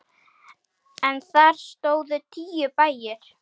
En þar stóðu tíu bæir.